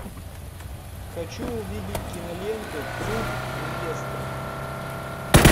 хочу увидеть киноленту труп невесты